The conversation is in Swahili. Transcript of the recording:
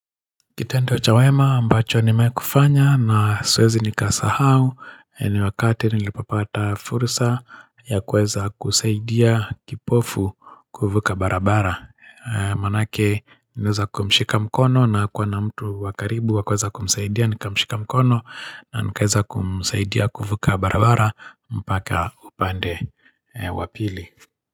Kitendo cha wema ambacho nimewahi kufanya na siwezi nikasahau ni wakati nilipopata fursa ya kuweza kusaidia kipofu kuvuka barabara Maanake niliweza kumshika mkono na hakuwa na mtu wa karibu wa kuweza kumsaidia nikamshika mkono na nikaweza kumsaidia kuvuka barabara mpaka upande wa pili.